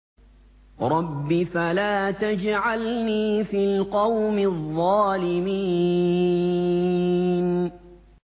رَبِّ فَلَا تَجْعَلْنِي فِي الْقَوْمِ الظَّالِمِينَ